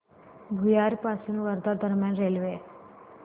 भुयार पासून वर्धा दरम्यान रेल्वे